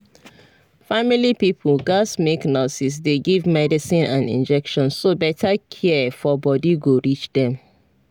family pipo gats make nurses dey give medicine and injection so better care for body go reach dem